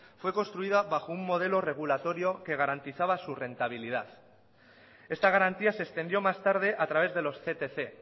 fue construida bajo un modelo regulatorio que garantizaba su rentabilidad esta garantía se extendió más tarde a través de los ctc